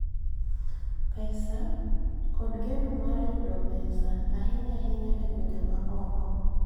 Pesa, kod geno mar yudo pesa, ahinya ahinya e gwenge ma oko.